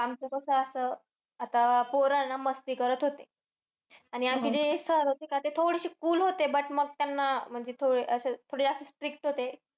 आमचं कसं असं, आता पोरं ना मस्ती करत होते. आणि आमचे जे sir होते ना थोडेशे cool होते. But मग त्यांना अह असं म्हणजे थोडं अह थोडं असं strict होते.